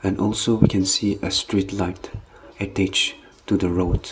and also we can see a street light a page to the road--